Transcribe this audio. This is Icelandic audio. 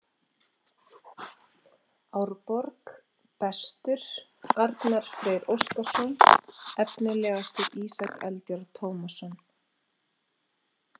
Árborg: Bestur: Arnar Freyr Óskarsson Efnilegastur: Ísak Eldjárn Tómasson